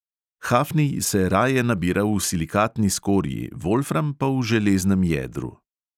Hafnij se raje nabira v silikatni skorji, volfram pa v železnem jedru.